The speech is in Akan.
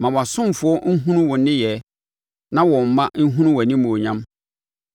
Ma wʼasomfoɔ nhunu wo nneyɛɛ na wɔn mma nhunu wʼanimuonyam.